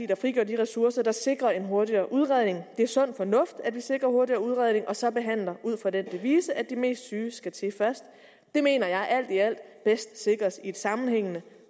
der frigør de ressourcer der sikrer en hurtigere udredning det er sund fornuft at vi sikrer hurtigere udredning og så behandler ud fra den devise at de mest syge skal til først det mener jeg alt i alt bedst sikres i et sammenhængende